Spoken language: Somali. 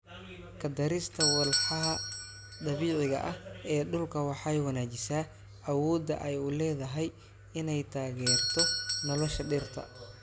Ku darista walxaha dabiiciga ah ee dhulka waxay wanaajisaa awoodda ay u leedahay inay taageerto nolosha dhirta.